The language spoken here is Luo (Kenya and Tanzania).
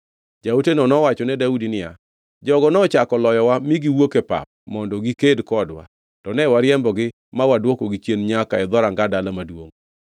Jaoteno nowachone Daudi niya, “Jogo nochako loyowa mi giwuok e pap mondo giked kodwa to ne wariembogi ma wadwokogi chien nyaka e dhoranga dala maduongʼ.